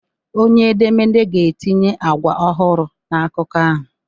Onye edemede ga-etinye agwa ọhụrụ na akụkọ ahụ